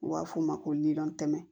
U b'a f'o ma ko miliyɔn tɛmɛ